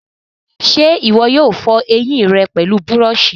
ṣé ìwọ yóò fọ ẹyìn rẹ pẹlú búrọ̀sì?